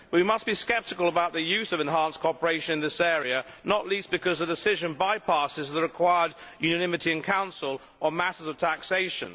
We must be sceptical about the use of enhanced cooperation in this area, not least because the decision bypasses the required unanimity in the Council on matters of taxation.